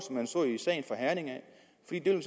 ved en